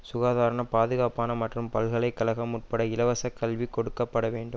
சுகாதாரனப் பாதுகாப்பான மற்றும் பல்கலை கழகம் உட்பட இலவசக்கல்வி கொடுக்க பட வேண்டும்